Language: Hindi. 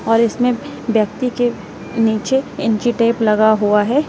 और इसमें व्यक्ति के नीचे इंची टेप लगा हुआ है।